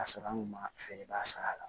Ka sɔrɔ an kun ma feereba sara la